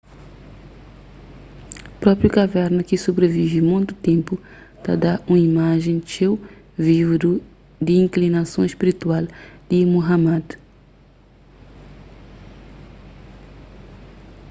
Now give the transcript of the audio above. própri kaverna ki sobrivive monti ténpu ta da un imajen txeu vivu di inklinason spiritual di muhammad